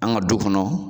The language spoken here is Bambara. An ka du kɔnɔ